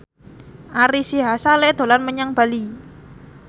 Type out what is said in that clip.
Ari Sihasale dolan menyang Bali